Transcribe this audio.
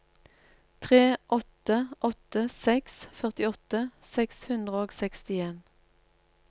tre åtte åtte seks førtiåtte seks hundre og sekstien